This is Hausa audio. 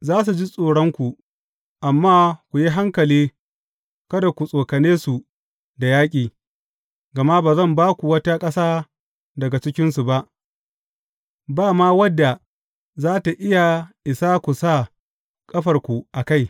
Za su ji tsoronku, amma ku yi hankali kada ku tsokane su da yaƙi, gama ba zan ba ku wata ƙasa daga cikinsu ba, ba ma wadda za tă iya isa ku sa ƙafarku a kai.